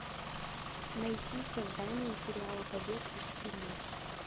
найти создание сериала побег из тюрьмы